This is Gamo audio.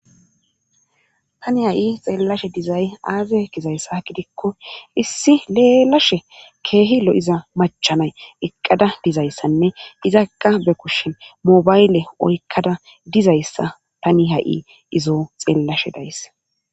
Tani ha7i xeellashe dizay aaze gizayssa gidikko issi leelashe keehi lo7iza machanay eqqada dizayssanne izakka be kushshen mobayle oykkada dizayssa tani ha7i izo xeellashe days.